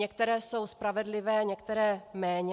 Některé jsou spravedlivé, některé méně.